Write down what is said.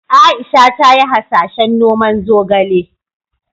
Aisha ta yi hasashen noman zogale.